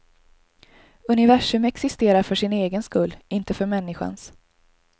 Universum existerar för sin egen skull, inte för människans.